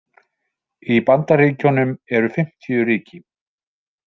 Í Bandaríkjunum eru fimmtíu ríki.